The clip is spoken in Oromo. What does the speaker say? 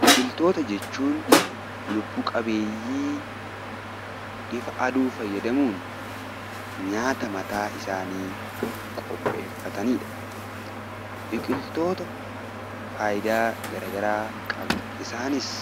Biqiltoota jechuun lubbu qabeeyyii ifa aduu fayyadamuun nyaata mataa isaanii qopheeffatani dha. Biqiltootni faayidaa gara garaa qabu, isaanis